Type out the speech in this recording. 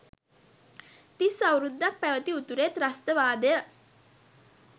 තිස් අවුරුද්දක් පැවැති උතුරේ ත්‍රස්තවාදය